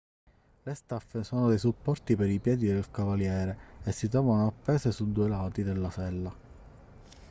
le staffe sono dei supporti per i piedi del cavaliere e si trovano appese sui due lati della sella